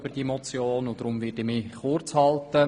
Deshalb werde ich mich kurz halten.